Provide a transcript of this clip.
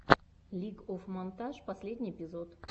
лиг оф монтадж последний эпизод